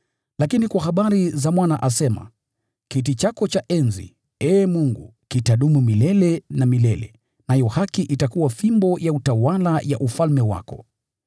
Lakini kwa habari za Mwana asema, “Kiti chako cha enzi, Ee Mungu, kitadumu milele na milele, nayo haki itakuwa fimbo ya utawala ya ufalme wako.